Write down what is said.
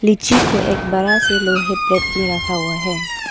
लीची को एक बड़ा से लोहे प्लेट में रखा हुआ है।